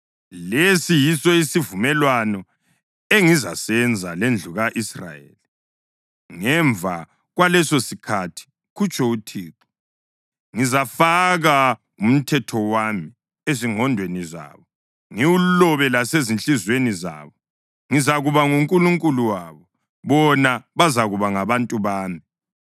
“Lesi yiso isivumelwano engizasenza lendlu ka-Israyeli ngemva kwalesosikhathi,” kutsho uThixo. “Ngizafaka umthetho wami ezingqondweni zabo, ngiwulobe lasezinhliziyweni zabo. Ngizakuba nguNkulunkulu wabo, bona bazakuba ngabantu bami.